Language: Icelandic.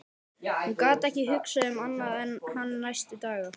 Hún gat ekki hugsað um annað en hann næstu daga.